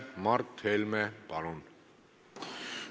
Mart Helme, palun!